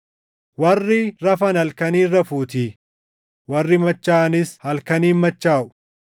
Warri rafan halkaniin rafuutii; warri machaaʼanis halkaniin machaaʼu.